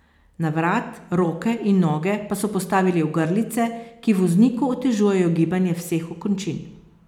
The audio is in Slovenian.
Na vrat, roke in noge pa so postavili ogrlice, ki vozniku otežujejo gibanje vseh okončin.